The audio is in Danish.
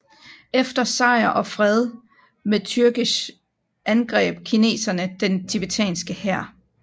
Efter sejr og fred med türgesh angreb kineserne den tibetanske hær